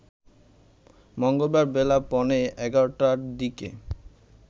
মঙ্গলবার বেলা পৌনে ১১ টার দিকে